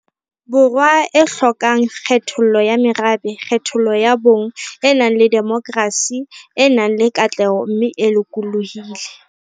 Borwa e hlokang kgethollo ya merabe, kgethollo ya bong, e nang le demokrasi, e nang le katleho mme e lokolohile.